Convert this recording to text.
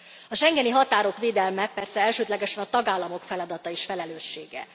A schengeni határok védelme persze elsődlegesen a tagállamok feladata és felelőssége.